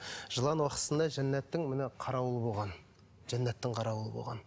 жылан уақытысында жәннаттың міне қарауылы болған жәннаттың қарауылы болған